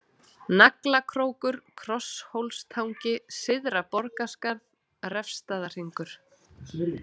Naglakrókur, Krosshólstangi, Syðra-Borgarskarð, Refsstaðahringur